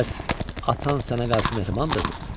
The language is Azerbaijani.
Bəs atan sənə qarşı mehribandırmı?